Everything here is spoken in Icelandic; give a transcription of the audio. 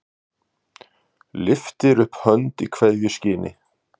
Lyftir upp hönd í kveðjuskyni.